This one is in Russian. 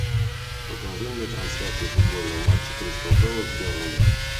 покажи мне трансляцию футбольного матча кристал пэлас бернли